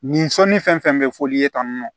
Nin sɔnni fɛn fɛn bɛ fɔli ye tan nɔ